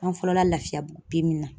An fɔlɔla Lafiyabugu na